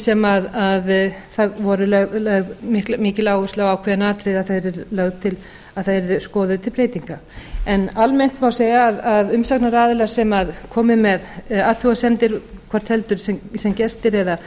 sem það var lögð mikil áhersla á ákveðin atriði að þau yrðu skoðuð til breytinga en almennt má segja að umsagnaraðilar sem komu með athugasemdir hvort heldur sem gestir eða